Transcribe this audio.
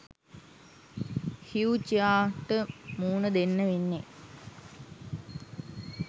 හ්යු චියාහ්ට මූණ දෙන්න වෙන්නෙ